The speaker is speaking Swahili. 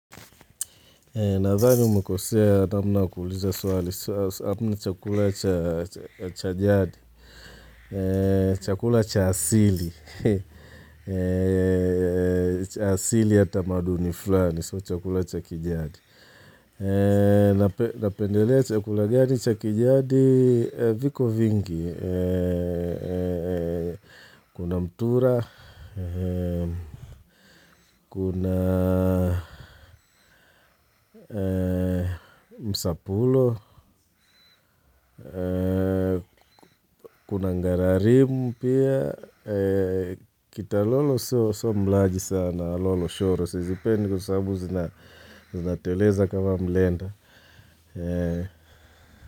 Na dhani umekosea sana kuuliza suali, sasa chakula chajadi, chakula cha asili, cha asili ya tamaduni fulani, so chakula chakijadi. Napendelea chakula gani chakijadi viko vingi Kuna mtura, kuna msapulo, kuna ngararimu pia kita lolo so mlaji sana, lolo shoro Zipendi kwa sabu zinateleza kama mlenda.